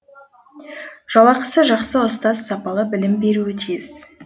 жалақысы жақсы ұстаз сапалы білім беруі тиіс